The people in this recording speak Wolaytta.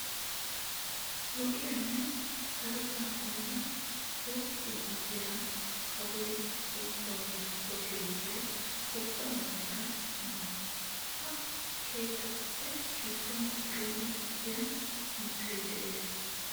Lo'iyanne sarotan kumida woppa gidiya kawoy duussawu giigisso keettaa ubbaa meraykka issi mala. Ha keettatuppe gidduwan biron dicciya mittay de'es.